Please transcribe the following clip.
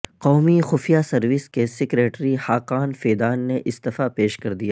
قومی خفیہ سروس کے سیکرٹری حاقان فیدان نے استعفی پیش کردیا